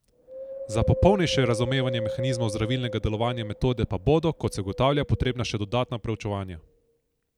Za popolnejše razumevanje mehanizmov zdravilnega delovanja metode pa bodo, kot se ugotavlja, potrebna še dodatna proučevanja.